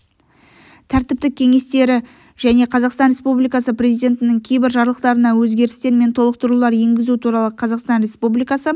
тәртіптік кеңестері және қазақстан республикасы президентінің кейбір жарлықтарына өзгерістер мен толықтырулар енгізу туралы қазақстан республикасы